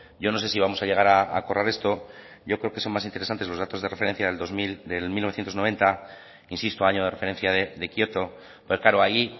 yo no sé sí vamos a llegar a acordar esto yo creo que es más interesantes los datos de referencia de mil novecientos noventa insisto año de referencia de kioto pero claro ahí